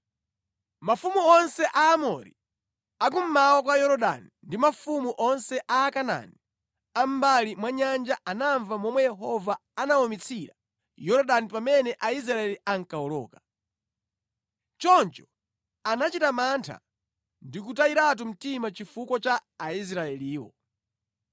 Mafumu onse a Aamori, a kummawa kwa Yorodani ndi mafumu onse a Akanaani a mʼmbali mwa Nyanja anamva momwe Yehova anawumitsira Yorodani pamene Aisraeli ankawoloka. Choncho anachita mantha ndi kutayiratu mtima chifukwa cha Aisraeliwo.